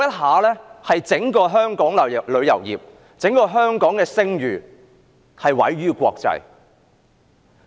在那一陣子，香港整個旅遊業及聲譽毀於國際。